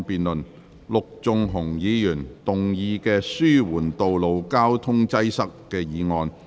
陸頌雄議員動議的"紓緩道路交通擠塞"議案。